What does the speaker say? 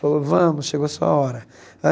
Falou, vamos, chegou a sua hora.